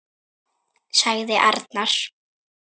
sagði arnar.